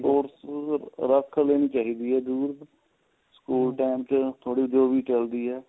sports ਰੱਖ ਲੈਣੀ ਚਾਹੀਦੀ ਏ ਜਰੂਰ school time ਚ ਥੋੜੀ ਜੀ ਉਹ ਵੀ ਚੱਲਦੀ ਏ